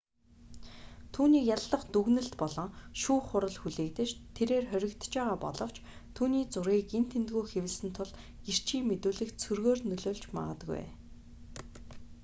түүнийг яллах дүгнэлт болон шүүх хурал хүлээгдэж тэрээр хоригдож байгаа боловч түүний зургийг энд тэндгүй хэвлэсэн тул гэрчийн мэдүүлэгт сөргөөр нөлөөлж магадгүй